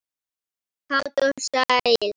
Kát og sælleg.